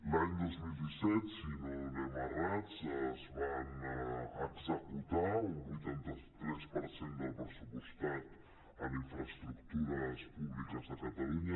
l’any dos mil disset si no anem errats es va executar un vuitanta tres per cent del pressupostat en infraestructures públiques a catalunya